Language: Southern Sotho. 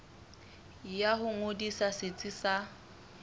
ya ho ngodisa setsi sa